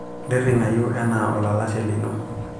ntiringayu ena olalashe lino